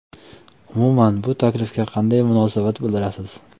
Umuman bu taklifga qanday munosabat bildirasiz?